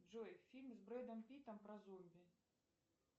джой фильм с брэдом питтом про зомби